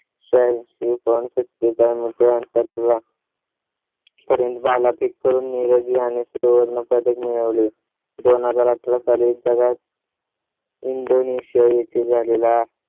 शेहनशी point सत्तेचाळीस metre अंतर पर्यंत भालाफेक करून नीरज याने सुवर्ण पदक मिळवले. दोन हजार अठरा साली जगात . indonesia येथे झालेला